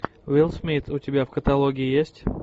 уилл смит у тебя в каталоге есть